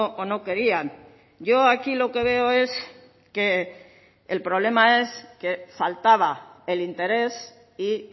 o no querían yo aquí lo que veo es que el problema es que faltaba el interés y